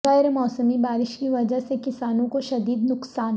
غیر موسمی بارش کی وجہ سے کسانوں کو شدید نقصان